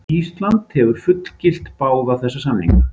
Ísland hefur fullgilt báða þessa samninga.